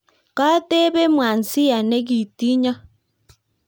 kotebe Mwanzia nekitinyo